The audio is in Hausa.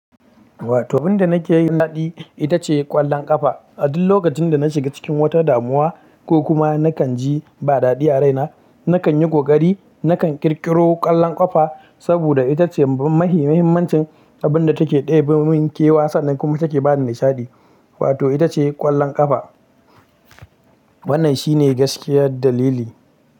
Wato abin da nake yi na nishaɗi ita ce ƙwallon ƙafa. A duk lokacin da na shiga cikin wata damuwa ko kuma nakan ji ba dadi a raina, nakan yi kokari nakan kirkiro ƙwallon ƙafa saboda ita ce mahimahimmancin abin da take ɗebe mun kewa sannan kuma take ba ni nishaɗi. Wato ita ce ƙwallon ƙafa. Wannan shi ne gaskiyar dalili.